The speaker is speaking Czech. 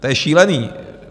To je šílený!